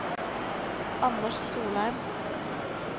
Anders Solheim